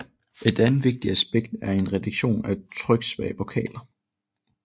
Et andet vigtigt aspekt er en reduktion af tryksvage vokaler